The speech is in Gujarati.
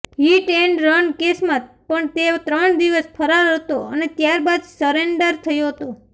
હિટ એન્ડ રન કેસમાં પણ તે ત્રણ દિવસ ફરાર હતો અને ત્યારબાદ સરેન્ડર થયો હતો